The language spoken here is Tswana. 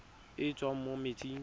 e e tswang mo metsing